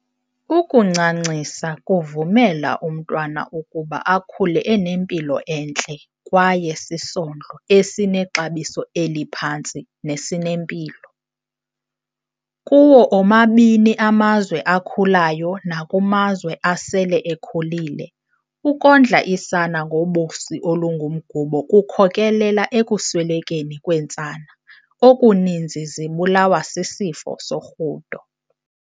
Ukuncancisa kuvumela umntwana ukuba akhule enempilo entle kwayesisondlo esinexabiso eliphantsi nesinempilo. Kuwo omabini amazwe akhulayo naku mazwe asele ekhulile, ukondla isana ngobisi olungumgubo kukhokelela ekuswelekeni kweentsana okuninzi zibulawa sisifo sorhudo.